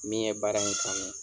Min ye baara in kanu.